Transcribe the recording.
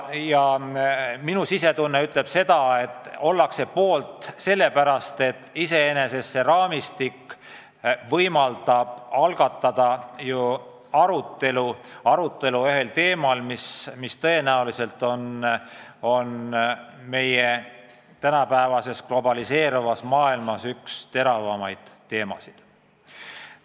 Ja minu sisetunne ütleb seda, et ollakse poolt sellepärast, et see raamistik võimaldab algatada arutelu teemal, mis tõenäoliselt on tänapäeva globaliseeruvas maailmas üks teravaimaid.